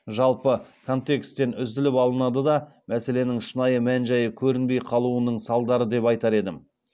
жалпы контексттен үзіліп алынады да мәселенің шынайы мән жайы көрінбей қалуының салдары деп айтар едім